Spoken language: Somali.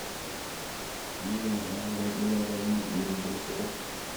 Shinnidu waxay awood u leedahay inay dhiirigeliso urta.